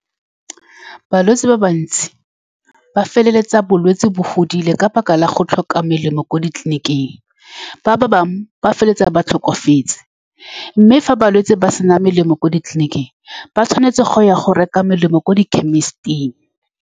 Balwetse ba bantsi ba feleletsa bolwetse bo fodile ka lebaka la go tlhoka melemo ko ditleliniking. Ba-ba bangwe ba feleletsa ba tlhokafetse, mme fa balwetse ba sena melemo kwa ditleliniking, ba tshwanetse go ya go reka melemo kwa di-chemist-ing.